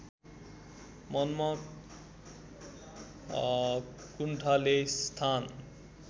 मनमा कुण्ठाले स्थान